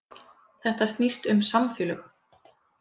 Þetta snýst um samfélög